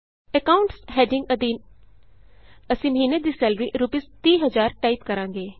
accounts heading ਅਧੀਨ ਅਸੀਂ ਮਹੀਨੇ ਦੀ ਸੈਲਰੀ ਰੂਪੀਸ 30000 ਟਾਈਪ ਕਰਾਂਗੇ